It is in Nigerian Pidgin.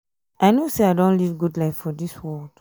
i no say i don live good life for dis world.